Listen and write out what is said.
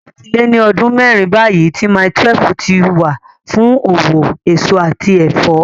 Ó ti lé ní ọdún mẹ́rin báyìí tí Mile 12 ti wà fún òwò èso àti ẹ̀fọ́.